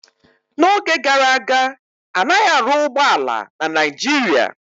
N'oge gara aga, anaghị arụ ụgbọ ala na Naijiria